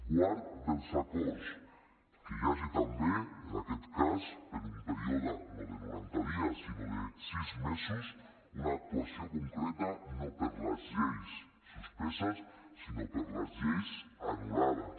quart dels acords que hi hagi també en aquest cas per un període no de noranta dies sinó de sis mesos una actuació concreta no per les lleis suspeses sinó per les lleis anul·lades